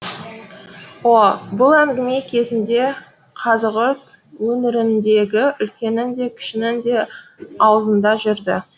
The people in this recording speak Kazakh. о о бұл әңгіме кезінде қазығұрт өңіріндегі үлкеннің де кішінің де аузында жүрді